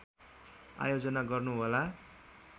आयोजना गर्नुहोला